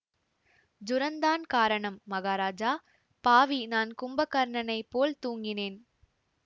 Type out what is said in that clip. ஜுரந்தான் காரணம் மகாராஜா பாவி நான் கும்பகர்ணனைப் போல் தூங்கினேன்